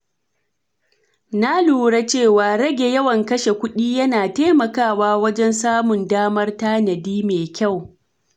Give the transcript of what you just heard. Na lura cewa rage yawan kashe kuɗi yana taimakawa wajen samun damar tanadi mai kyau.